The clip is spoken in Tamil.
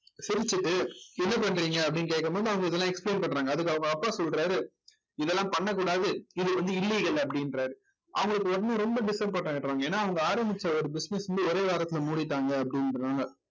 சிரிச்சிட்டு என்ன பண்றீங்க அப்படின்னு கேக்கும் போது அவங்க இதெல்லாம் explain பண்றாங்க அதுக்கு அவங்க அப்பா சொல்றாரு இதெல்லாம் பண்ணக் கூடாது இது வந்து illegal அப்படின்றாரு அவங்களுக்கு வந்து ரொம்ப disappoint ஆயிடுவாங்க ஏன்னா அவங்க ஆரம்பிச்ச ஒரு business வந்து ஒரே வாரத்துல மூடிட்டாங்க அப்படின்றாங்க